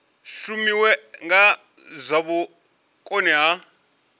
shumiwe na zwa vhukoni ha